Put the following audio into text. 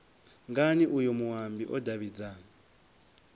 ngani uyo muambi o davhidzana